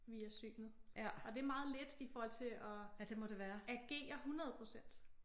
Via synet og det meget lidt i forhold til at agere 100 procent